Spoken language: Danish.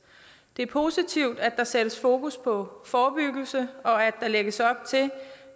det er positivt at der sættes fokus på forebyggelse og at der lægges op til